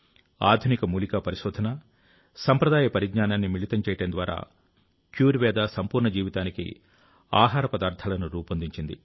ఆధునిక మూలికా పరిశోధన సంప్రదాయ పరిజ్ఞానాన్ని మిళితం చేయడం ద్వారా క్యూర్ వేద సంపూర్ణ జీవితానికి ఆహార పదార్ధాలను రూపొందించింది